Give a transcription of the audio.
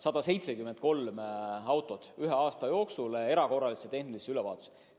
Seega ühe aasta jooksul suunati 173 autot erakorralisele tehnilisele ülevaatusele.